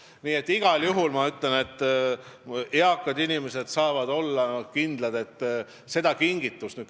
Nii et igal juhul ma ütlen, et eakad inimesed saavad olla kindlad.